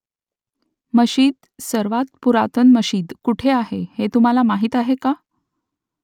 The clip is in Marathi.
मशीद सर्वांत पुरातन मशीद कुठे आहे हे तुम्हाला माहीत आहे का ?